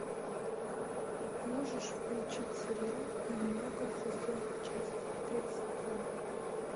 можешь включить сериал немного за сорок часть тридцать два